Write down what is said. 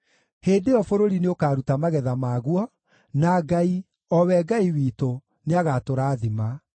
Hĩndĩ ĩyo bũrũri nĩũkaruta magetha maguo, na Ngai, o we Ngai witũ, nĩagatũrathima.